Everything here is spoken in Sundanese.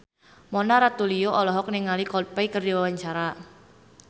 Mona Ratuliu olohok ningali Coldplay keur diwawancara